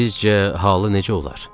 Sizcə halı necə olar?